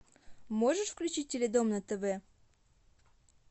можешь включить теледом на тв